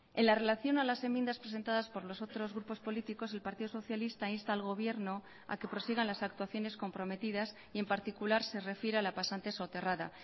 en la relación a las enmiendas presentadas por los otros grupos políticos el partido socialista insta al gobierno a que prosigan las actuaciones comprometidas y en particular se refiere a la pasante soterrada